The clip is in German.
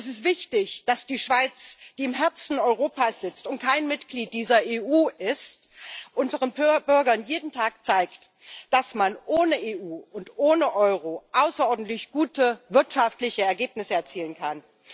Es ist wichtig, dass die Schweiz, die im Herzen Europas sitzt und kein Mitglied dieser EU ist, unseren Bürgern jeden Tag zeigt, dass man ohne EU und ohne Euro außerordentlich gute wirtschaftliche Ergebnisse erzielen kann.